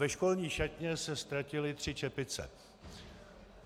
Ve školní šatně se ztratily tři čepice.